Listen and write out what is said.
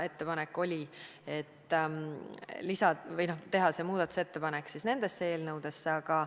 Ettepanek oli teha muudatusettepanek nende eelnõude kohta.